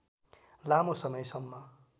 लामो समयसम्म